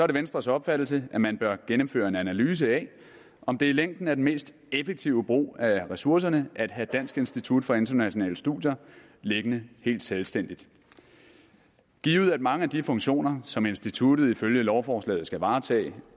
det venstres opfattelse at man bør gennemføre en analyse af om det i længden er den mest effektive brug af ressourcerne at have dansk institut for internationale studier liggende helt selvstændigt givet at mange af de funktioner som instituttet ifølge lovforslaget skal varetage